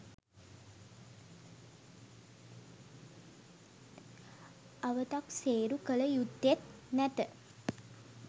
අවතක්සේරු කළ යුත්තේත් නැත.